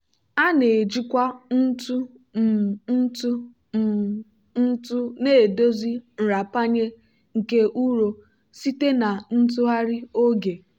a na-ejikwa ntụ um ntụ um ntụ na-edozi nrapanye nke ụrọ site na ntụgharị oge.